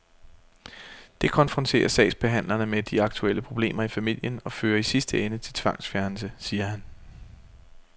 Det konfronterer sagsbehandlerne med de aktuelle problemer i familien og fører i sidste ende til tvangsfjernelse, siger han.